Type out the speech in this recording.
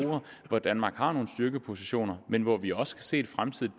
hvor danmark har nogle styrkepositioner men hvor vi også kan se et fremtidigt